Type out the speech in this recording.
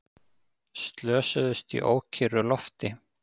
Slösuðust í ókyrru lofti